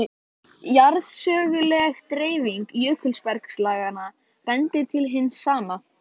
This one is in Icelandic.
Til þess átti ég of mikið óuppgert á heimaslóðum.